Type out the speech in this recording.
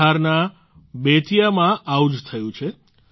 બિહારના બેતિયામાં આવું જ થયું છે